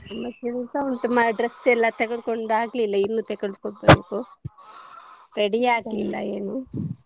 ಕೆಲಸ ಉಂಟು dress ಎಲ್ಲ ತಗೆದು ಕೊಂಡು ಆಗಿಲ್ಲ ಇನ್ನುಸಾ ತಗೊಳ್ಬೇಕು ready ಆಗ್ಲಿಲ್ಲ ಏನು .